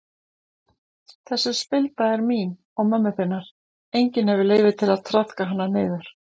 Þessi spilda er mín og mömmu þinnar, enginn hefur leyfi til að traðka hana niður.